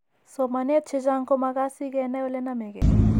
Somaneet chechang' ko makaat si kenai ole name ke.